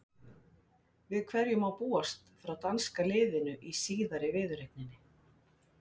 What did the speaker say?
Við hverju má búast frá danska liðinu í síðari viðureigninni?